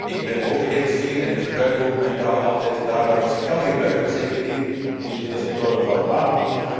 Ik ben heel trots op mijn taal en ik gebruik haar altijd daar waar ik haar kan gebruiken, zeker hier in deze toren van babel.